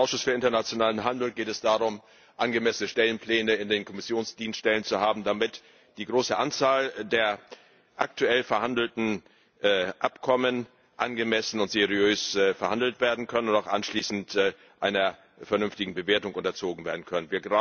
Für den Ausschuss für internationalen Handel geht es darum, angemessene Stellenpläne in den Kommissionsdienststellen zu haben, damit die große Anzahl der aktuell verhandelten Abkommen angemessen und seriös verhandelt und auch anschließend einer vernünftigen Bewertung unterzogen werden kann.